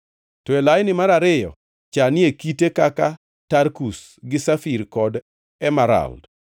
to e laini mar ariyo chanie kite kaka tarkus gi safir kod emerald;